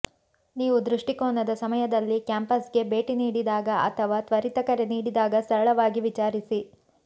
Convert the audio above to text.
ನೀವು ದೃಷ್ಟಿಕೋನದ ಸಮಯದಲ್ಲಿ ಕ್ಯಾಂಪಸ್ಗೆ ಭೇಟಿ ನೀಡಿದಾಗ ಅಥವಾ ತ್ವರಿತ ಕರೆ ನೀಡಿದಾಗ ಸರಳವಾಗಿ ವಿಚಾರಿಸಿ